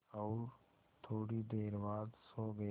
और थोड़ी देर बाद सो गए